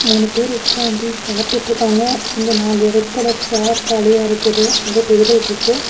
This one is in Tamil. மூணு பேர் உக்காந்தி சாப்டுட்ருக்காங்க இங்க நாலு ரெட் கலர் சேர் காலியா இருக்குது ஒரு டேபிள்ட்ருக்கு .